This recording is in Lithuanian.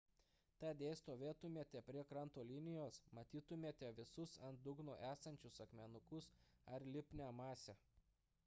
tad jei stovėtumėte prie kranto linijos matytumėte visus ant dugno esančius akmenukus ar lipnią masę